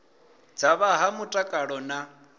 dza vha fha mutakalo na